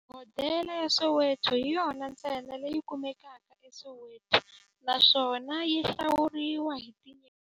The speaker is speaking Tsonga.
Hodela ya Soweto hi yona ntsena leyi kumekaka eSoweto, naswona yi hlawuriwa hi tinyeleti ta mune.